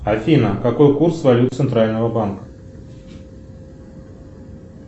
афина какой курс валют центрального банка